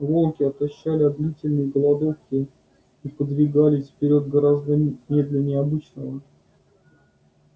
волки отощали от длительной голодовки и подвигались вперёд гораздо медленнее обычного